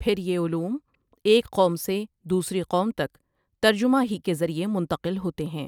پھر یہ علوم ایک قوم سے دوسری قوم تک ترجمہ ہی کے ذریعہ منتقل ہوتے ہیں ۔